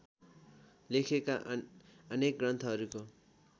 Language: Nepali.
लेखिएका अनेक ग्रन्थहरूको